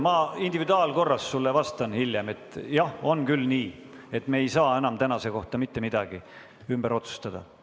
Ma individuaalkorras vastan sulle hiljem, et jah, on küll nii, et me ei saa enam tänase kohta mitte midagi ümber otsustada.